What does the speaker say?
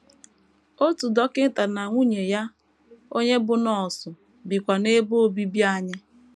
Otu dọkịta na nwunye ya, onye bụ́ nọọsụ, bikwa n’ebe obibi anyị.